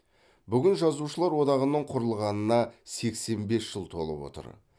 бүгін жазушылар одағының құрылғанына сексен бес жыл толып отыр